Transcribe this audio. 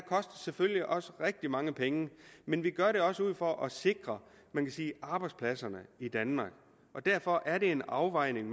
selvfølgelig også kostet rigtig mange penge men vi gør det også for at sikre man kan sige arbejdspladserne i danmark og derfor er det en afvejning